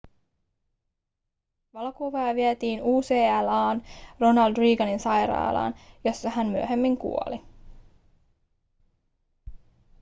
valokuvaaja vietiin ucla:n ronald reaganin sairaalaan jossa hän myöhemmin kuoli